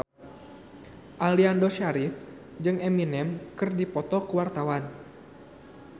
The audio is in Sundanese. Aliando Syarif jeung Eminem keur dipoto ku wartawan